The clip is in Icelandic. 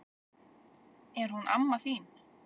Er hún amma þín?